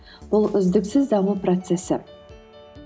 бұл үздіксіз даму процессі